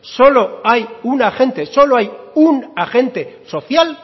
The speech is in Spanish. solo hay un agente